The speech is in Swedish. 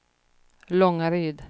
Långaryd